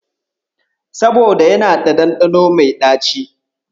Saboda yana da ɗanɗano mai ɗaci.